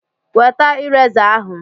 Weta ireza ahụ!